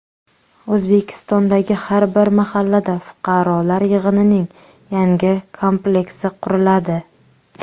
O‘zbekistondagi har bir mahallada fuqarolar yig‘inining yangi kompleksi quriladi.